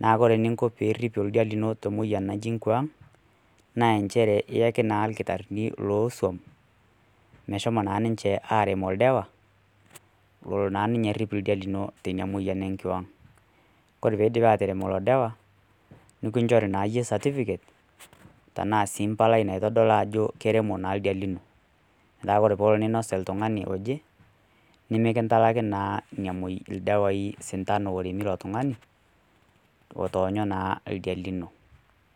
Naa ore ninko pee irip oldia lino te emoyian naji nkwaang', naa nchere iaki naa ilkitarini loo som meshomo naa ninye aremo oldawa lola arip naa ninye oldia linolino teina moyian naji enkiwaang'. Kore pee eidip atarem ilo daawa, nekinchori naa iyie certificate, tanaa sii mpalai naitodolu ajo kermo naa ldia lino, metaa kore pee elo neinos oltung'ani oje , nemekintalaki naa ina moyian, ildawai o sintano oremi ilo tung'ani, otoonyo naa oldia lino.